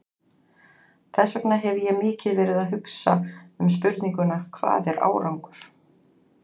Þess vegna hef ég mikið verið að hugsa um spurninguna, hvað er árangur?